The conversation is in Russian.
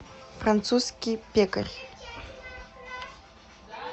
французский пекарь